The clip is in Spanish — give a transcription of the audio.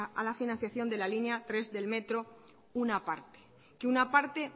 a la financiación de la línea tres del metro una parte que una parte